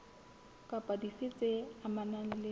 kapa dife tse amanang le